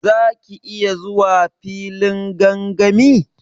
Za ki iya zuwa filin gangami?